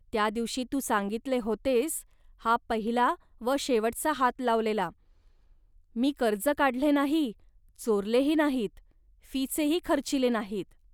त्या दिवशी तू सांगितले होतेस "हा पहिला व शेवटचा हात लावलेला. मी कर्ज काढले नाही, चोरलेही नाहीत, फीचेही खर्चिले नाहीत